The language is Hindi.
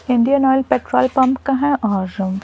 इंडियन ऑयल पेट्रोल पंप का है और--